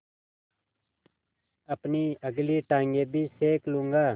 अपनी अगली टाँगें भी सेक लूँगा